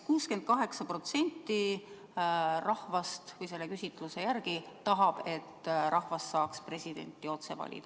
68% rahvast selle küsitluse järgi tahab, et rahvas saaks presidenti otse valida.